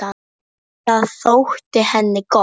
Það þótti henni gott.